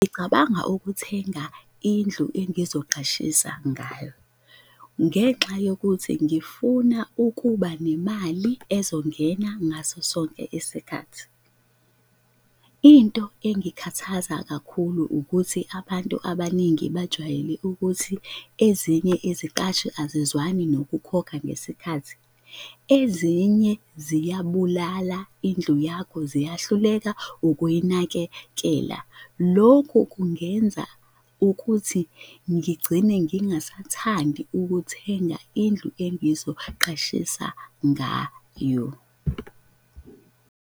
Ngicabanga ukuthenga indlu engizoqashisa ngayo. Ngenxa yokuthi ngifuna ukuba nemali ezongena ngaso sonke isikhathi. Into engikhathaza kakhulu ukuthi abantu abaningi bajwayele ukuthi ezinye iziqashi azizwani nokukhokha ngesikhathi, ezinye ziyabulala indlu yakho, ziyahluleka ukuyinakekela. Lokhu kungenza ukuthi ngigcine ngingasathandi ukuthenga indlu engizoqashisa ngayo.